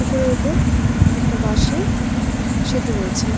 পুকুরের ওপর একটা বাঁশের সেতু রয়েছে।